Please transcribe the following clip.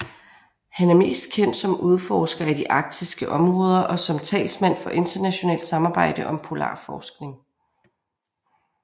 Han er mest kendt som udforsker af de arktiske områder og som talsmand for internationalt samarbejde om polarforskning